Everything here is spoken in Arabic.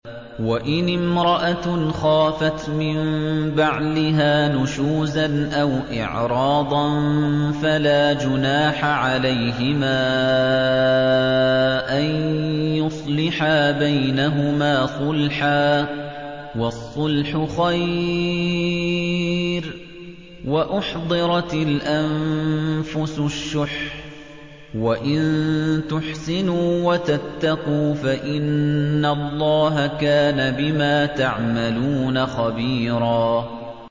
وَإِنِ امْرَأَةٌ خَافَتْ مِن بَعْلِهَا نُشُوزًا أَوْ إِعْرَاضًا فَلَا جُنَاحَ عَلَيْهِمَا أَن يُصْلِحَا بَيْنَهُمَا صُلْحًا ۚ وَالصُّلْحُ خَيْرٌ ۗ وَأُحْضِرَتِ الْأَنفُسُ الشُّحَّ ۚ وَإِن تُحْسِنُوا وَتَتَّقُوا فَإِنَّ اللَّهَ كَانَ بِمَا تَعْمَلُونَ خَبِيرًا